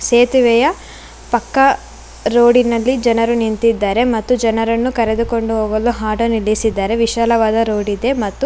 ಸೇತುವೆಯ ಪಕ್ಕಾ ರೋಡಿನಲ್ಲಿ ಜನರು ನಿಂತಿದ್ದಾರೆ ಮತ್ತು ಜನರನ್ನು ಕರೆದುಕೊಂಡು ಹೋಗಲು ಆಟೋ ನಿಲ್ಲಿಸಿದ್ದಾರೆ ವಿಶಾಲವಾದ ರೋಡಿದೆ ಮತ್ತು--